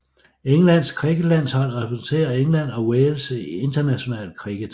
Englands cricketlandshold repræsenterer England og Wales i international cricket